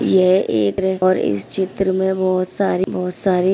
ये एक और इस चित्र में बहुत सारी बहुत सारी --